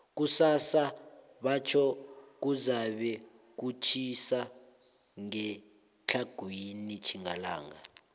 kusasa batjho kuzabe kutjhisa ngetlhagwini tjhingalanga